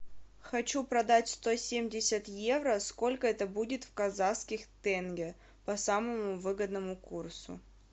хочу продать сто семьдесят евро сколько это будет в казахских тенге по самому выгодному курсу